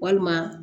Walima